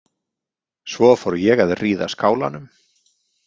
Svo fór ég að ríða skálanum.